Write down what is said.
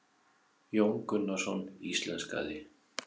Jón Gunnarsson íslenskaði.